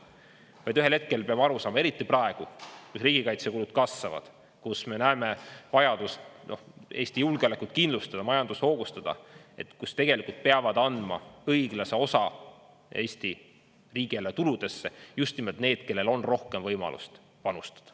Vaid ühel hetkel peab aru saama, eriti praegu, kus riigikaitsekulud kasvavad, kus me näeme vajadust Eesti julgeolekut kindlustada, majandust hoogustada, kus tegelikult peavad andma õiglase osa Eesti riigieelarve tuludesse just nimelt need, kellel on rohkem võimalust panustada.